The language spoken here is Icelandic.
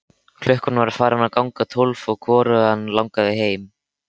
Klukkan var farin að ganga tólf og hvorugan langaði heim.